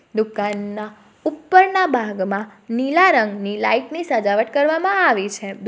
દુકાનના ઉપરના ભાગમાં નીલા રંગની લાઈટ ની સગાવટ કરવામાં આવી છે દુક --